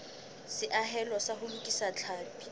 seahelo sa ho lokisa tlhapi